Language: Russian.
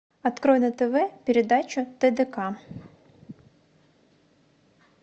открой на тв передачу тдк